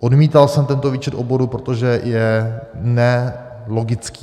Odmítal jsem tento výčet oborů, protože je nelogický.